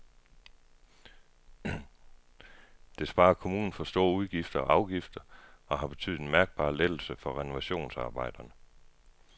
Det sparer kommunen for store udgifter og afgifter og har betydet en mærkbar lettelse for renovationsarbejderne.